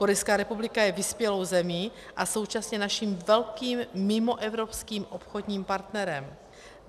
Korejská republika je vyspělou zemí a současně naším velkým mimoevropským obchodním partnerem.